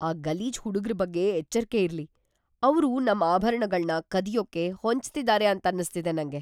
ಆ ಗಲೀಜ್ ಹುಡುಗ್ರು ಬಗ್ಗೆ ಎಚ್ಚರ್ಕೆ ಇರ್ಲಿ. ಅವ್ರು ನಮ್ ಆಭರಣಗಳ್ನ ಕದಿಯೋಕೆ ಹೊಂಚ್ತಿದಾರೆ ಅಂತನ್ನಿಸ್ತಿದೆ ನಂಗೆ.